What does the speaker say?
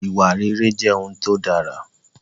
Ìwà rere jẹ́ ohun tó dára